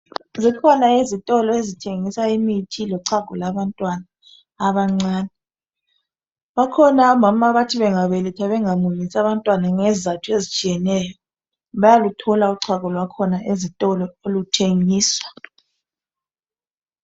Zikhona izitolo ezithengisa imithi lochago lwabantwana abancane bakhona omama abathi bengabeletha abantwana bangabamunyisi ngezizatho ezitshiyeneyo bayaluthona uchago lwakhona ezitolo luthengiswa.